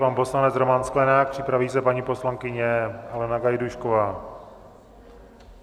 Pan poslanec Roman Sklenák, připraví se paní poslankyně Alena Gajdůšková.